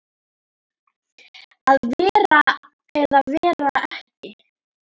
Að vera eða ekki vera?